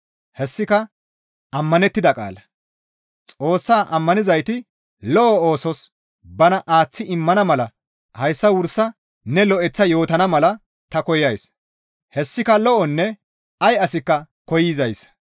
Hessika ammanettida qaala; Xoossaa ammanizayti lo7o oosos bana aaththi immana mala hayssa wursa ne lo7eththa yootana mala ta koyays; hessika lo7onne ay asikka koyzaaza.